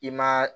I ma